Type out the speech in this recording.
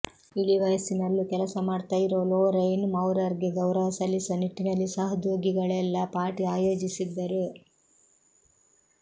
ಇಳಿವಯಸ್ಸಿನಲ್ಲೂ ಕೆಲಸ ಮಾಡ್ತಾ ಇರೋ ಲೊರೈನ್ ಮೌರರ್ ಗೆ ಗೌರವ ಸಲ್ಲಿಸುವ ನಿಟ್ಟಿನಲ್ಲಿ ಸಹೋದ್ಯೋಗಿಗಳೆಲ್ಲ ಪಾರ್ಟಿ ಆಯೋಜಿಸಿದ್ದರು